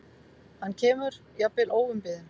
Hann kemur, jafnvel óumbeðinn.